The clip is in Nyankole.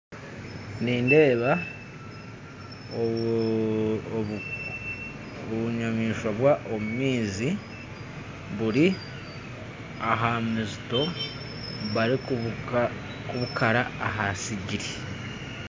Nindeeba obunyamaishwa bwa omumaizi buri aha mizito bari kubukara ahasigiri.